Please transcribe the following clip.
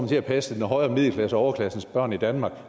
til at passe den højere middelklasses og overklassens børn i danmark og